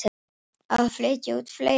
Á að flytja út fleiri fiska